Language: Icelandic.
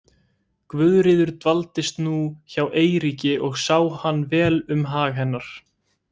Guðríður dvaldist nú hjá Eiríki og sá hann vel um hag hennar.